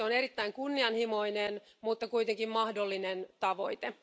Se on erittäin kunnianhimoinen mutta kuitenkin mahdollinen tavoite.